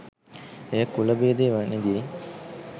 එය කුලභේදය වැනි දේ